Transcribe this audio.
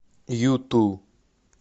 юту